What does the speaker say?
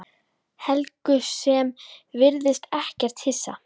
Helgu sem virðist ekkert hissa.